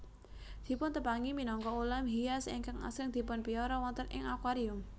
Dipuntepangi minangka ulam hias ingkang asring dipunpiara wonten ing akuarium